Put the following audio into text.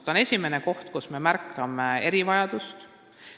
See on esimene koht, kus me märkame erivajadust.